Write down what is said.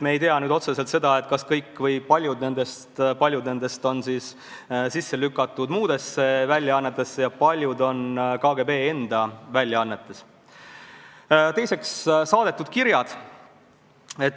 Teiseks, saadetud kirjad.